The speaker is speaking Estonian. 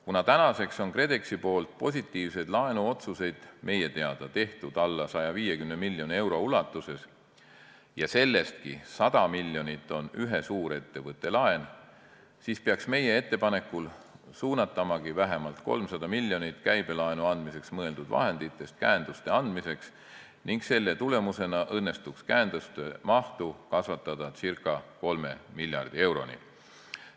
Kuna tänaseks on KredExi poolt positiivseid laenuotsuseid meie teada tehtud alla 150 miljoni euro ja sellestki 100 miljonit on ühe suurettevõtte laen, siis tuleks meie ettepanekul suunata vähemalt 300 miljonit käibelaenu andmiseks mõeldud vahenditest käenduste andmiseks ning selle tulemusena õnnestuks käenduste mahtu kasvatada ca 3 miljardi euroni.